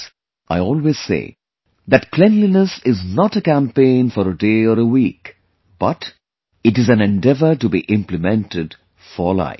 Friends, I always say that cleanliness is not a campaign for a day or a week but it is an endeavor to be implemented for life